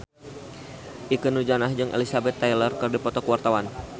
Ikke Nurjanah jeung Elizabeth Taylor keur dipoto ku wartawan